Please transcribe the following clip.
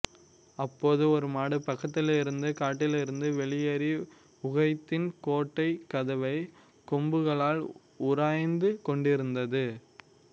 அப்போது ஒரு மாடு பக்கத்திலிருந்த காட்டிலிருந்து வெளியேறி உகைதின் கோட்டைக் கதவை கொம்புகளால் உராய்ந்து கொண்டிருந்தது